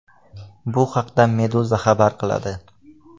Bu haqda Meduza xabar qiladi .